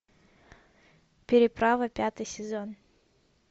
переправа пятый сезон